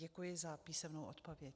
Děkuji za písemnou odpověď.